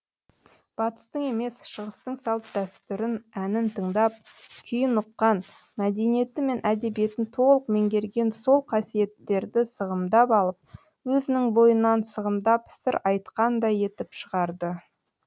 батыстың емес шығыстың салт дәстүрін әнін тыңдап күйін ұққан мәдениеті мен әдебиетін толық меңгерген сол қасиеттерді сығымдап алып өзінің бойынан сығымдап сыр айтқандай етіп шығарды